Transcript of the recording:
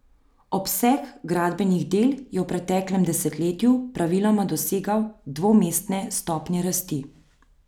Obseg gradbenih del je v preteklem desetletju praviloma dosegal dvomestne stopnje rasti.